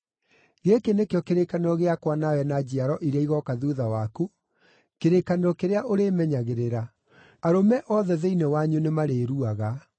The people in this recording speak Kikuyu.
Gĩkĩ nĩkĩo kĩrĩkanĩro gĩakwa nawe na njiaro iria igooka thuutha waku, kĩrĩkanĩro kĩrĩa ũrĩmenyagĩrĩra: Arũme othe thĩinĩ wanyu nĩmarĩruaga.